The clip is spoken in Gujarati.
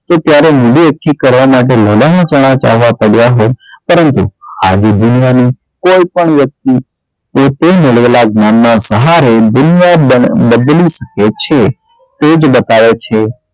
તો ત્યારે આવી દુનિયા ની કોઈ પણ વ્યક્તિ પોતે મેળવેલા જ્ઞાન ના સહારે દુનિયા બદલી શકે છે તે જ બતાવે છે